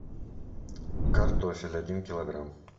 картофель один килограмм